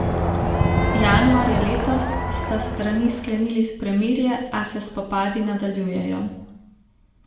Januarja letos sta strani sklenili premirje, a se spopadi nadaljujejo.